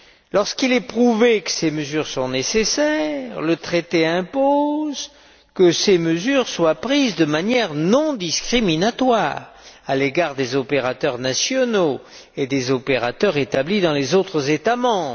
Lorsqu'il est prouvé que ces mesures sont nécessaires, le traité impose qu'elles soient prises de manière non discriminatoire à l'égard des opérateurs nationaux et des opérateurs établis dans les autres États membres.